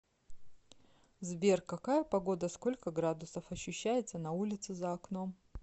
сбер какая погода сколько градусов ощущается на улице за окном